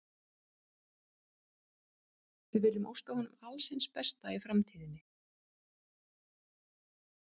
Við viljum óska honum alls hins besta í framtíðinni.